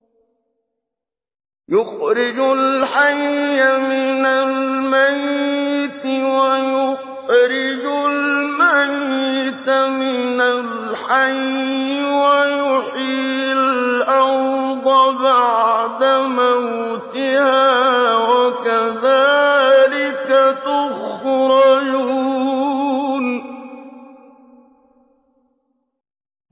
يُخْرِجُ الْحَيَّ مِنَ الْمَيِّتِ وَيُخْرِجُ الْمَيِّتَ مِنَ الْحَيِّ وَيُحْيِي الْأَرْضَ بَعْدَ مَوْتِهَا ۚ وَكَذَٰلِكَ تُخْرَجُونَ